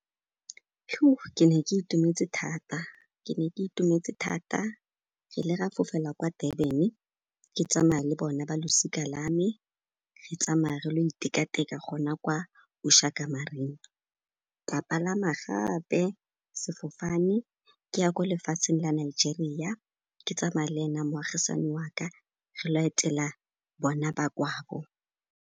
Ke ne ke itumetse thata, ke ne ke itumetse thata. Re ile ga fofela kwa Durban, ke tsama'a le bona ba losika la me, re tsamaya re lo iteka-teka gona kwa Ushaka Marine. Ka palama gape sefofane ke ya ko lefatsheng la Nigeria, ke tsama'a le ena moagisani wa ka, re ilo etela bona ba kwabo.